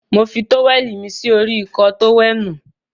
Mo fi tówẹ̀lì mí sí orí Ìkọ́ọ tówẹ́ẹ̀nù.